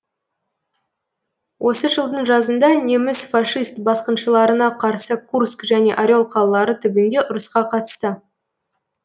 осы жылдың жазында неміс фашист басқыншыларына қарсы курск және орел қалалары түбінде ұрысқа қатысты